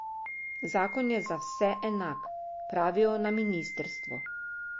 Zakon je za vse enak, pravijo na ministrstvu.